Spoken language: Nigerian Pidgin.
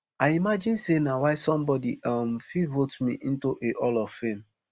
i imagine say na why somebodi um fit vote me into a hall of fame